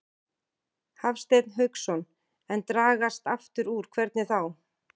Hafsteinn Hauksson: En dragast aftur úr, hvernig þá?